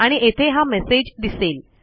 आणि येथे हा मेसेज दिसेल